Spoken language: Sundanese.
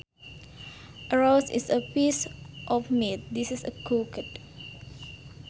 A roast is a piece of meat that is cooked